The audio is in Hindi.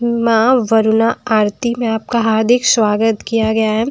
माँं वरूणा आरती में आपका हार्दिक स्वागत किया गया है।